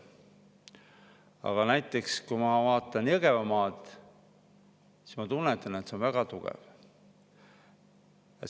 Aga näiteks, kui ma vaatan Jõgevamaad, siis ma tunnetan, et see on väga tugev.